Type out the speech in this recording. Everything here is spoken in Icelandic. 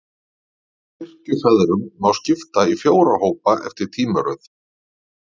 Kirkjufeðrunum má skipta í fjóra hópa, eftir tímaröð.